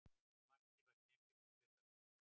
Markið var keimlíkt því fyrra